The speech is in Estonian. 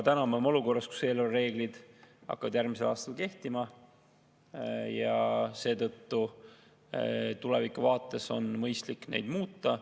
Täna me oleme olukorras, kus eelarvereeglid hakkavad järgmisel aastal kehtima, seetõttu tulevikuvaates oleks mõistlik neid muuta.